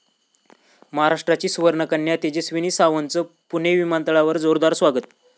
महाराष्ट्राची सुवर्णकन्या तेजस्विनी सावंतचं पुणे विमानतळावर जोरदार स्वागत